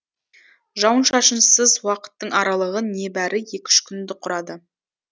жауын шашынсыз уақыттың аралығы небәрі екі үш күнді құрады